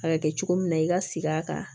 A bɛ kɛ cogo min na i ka sigi a kan